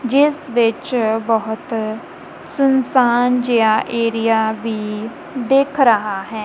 ਜਿਸ ਵਿੱਚ ਬਹੁਤ ਸੁਨਸਾਨ ਜਿਹਾ ਏਰੀਆ ਵੀ ਦਿੱਖ ਰਹਾ ਹੈ।